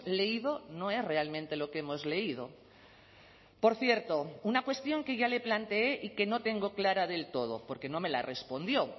leído no es realmente lo que hemos leído por cierto una cuestión que ya le planteé y que no tengo clara del todo porque no me la respondió